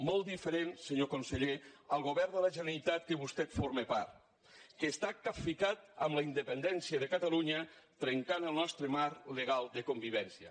molt diferent senyor conseller al govern de la generalitat de què vostè forma part que està capficat amb la independència de catalunya trencant el nostre marc legal de convivència